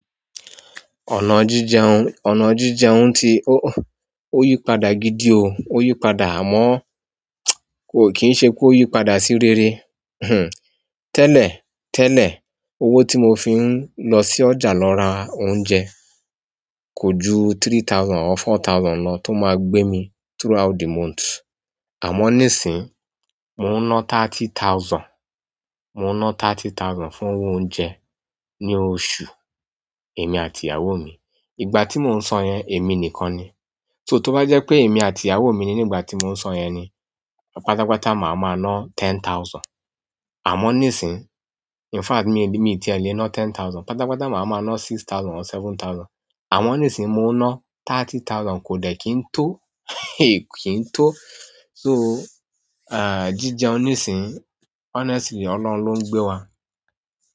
Ọ̀nà jíjẹun, ọ̀nà jíjẹun ti o, o yí padà gidi o, o yí padà àmọ́ kò kìí ṣe pé o yí padà sí rere. Hmm. Tẹ́lẹ̀, tẹ́lẹ̀ owó tí mo fi ń lọ sí ọjà lọ ra oúnjẹ kò ju three thousand or four thousand lọ tó máa gbé mi throughout the month. Àmọ́ nísìí, mò ń ná thirty thousand, mò ń ná thirty thousand fún owó oúnjẹ ní oṣù, èmi àti ìyàwó mi. Ìgbà tí mò ń sọ yẹn èmi nìkan ni. So to bá jẹ pé èmi àti ìyàwó mí nígbà tí mo ń sọ yẹni pátápátá máa máa ná ten thousand amọ nisin in fact mí ti ẹ le ná ten thousand pátápátá máa máa ná six thousand or seven thousand. Àmọ́ nísìí mò ń ná thirty thousand kò dẹ̀ kí ń tó, èyí kì ń tó. So, ah jíjẹun nísìí honestly Ọlọ́run ló ń gbé wa.